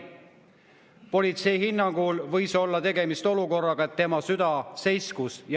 Politsei hinnangul võis olla tegemist olukorraga, kus tema süda seiskus.